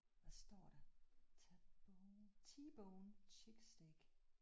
Hvad står der? T-bone T-bone chick steak